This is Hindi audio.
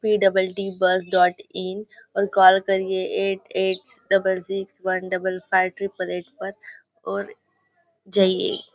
P double T bus dot in और कोल करिये eight eight double six one double five triple eight पर और जाइए।